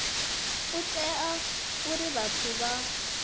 u ita uri vhathu vha